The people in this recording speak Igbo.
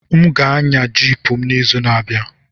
M ga-anya Jiip m n'izu na-abịa.